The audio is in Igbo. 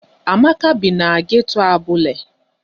Amaka bi na geto Abule.